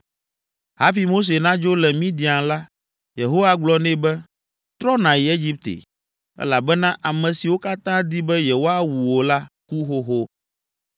Hafi Mose nadzo le Midian la, Yehowa gblɔ nɛ be, “Trɔ nàyi Egipte, elabena ame siwo katã di be yewoawu wò la, ku xoxo.”